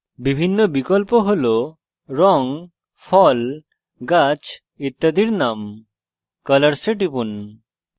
বিভিন্ন বিকল্প হল রঙ ফল গাছ ইত্যাদির names colors এ টিপুন